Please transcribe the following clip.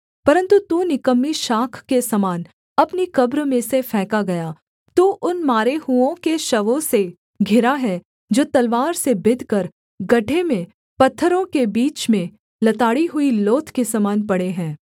परन्तु तू निकम्मी शाख के समान अपनी कब्र में से फेंका गया तू उन मारे हुओं की शवों से घिरा है जो तलवार से बिधकर गड्ढे में पत्थरों के बीच में लताड़ी हुई लोथ के समान पड़े है